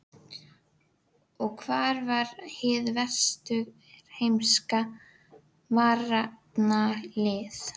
Og hvar var hið vesturheimska varnarlið?